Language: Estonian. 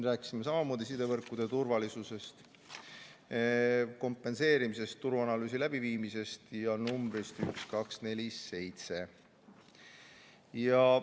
Rääkisime samamoodi sidevõrkude turvalisusest, kompenseerimisest, turuanalüüsi läbiviimisest ja telefoninumbrist 1247.